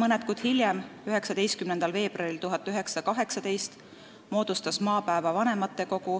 Mõned kuud hiljem, 19. veebruaril 1918. aastal moodustas Maapäeva vanematekogu